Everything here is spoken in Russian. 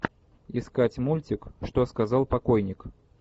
искать мультик что сказал покойник